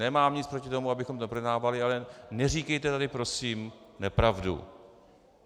Nemám nic proti tomu, abychom to neprojednávali, ale neříkejte tady prosím nepravdu.